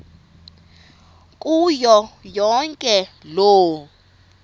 kuyo yonke loo